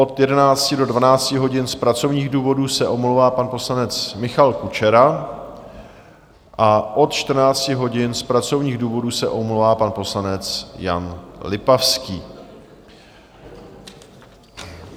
Od 11 do 12 hodin z pracovních důvodů se omlouvá pan poslanec Michal Kučera a od 14 hodin z pracovních důvodů se omlouvá pan poslanec Jan Lipavský.